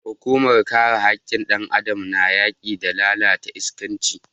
Hukumar kare hakkin dan Adam na yaki da lalatar iskanci.